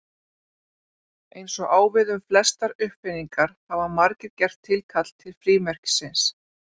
Eins og á við um flestar uppfinningar hafa margir gert tilkall til frímerkisins.